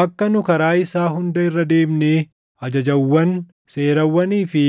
Akka nu karaa isaa hunda irra deemnee ajajawwan, seerawwanii fi